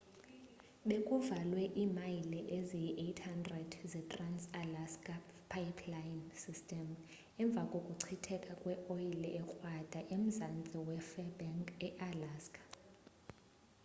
bekuvalwe imayile eziyi-800 ze-trans-alaska pipeline system emva kokuchitheka kweoyile ekrwada emzantsi we-fairbanks ealaska